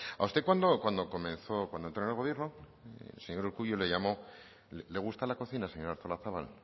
a usted cuando entró en el gobierno el señor urkullu le llamó le gusta la cocina señora artolazabal